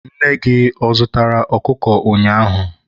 Nne gị ọ zụtara okụkụ ụnyaahụ?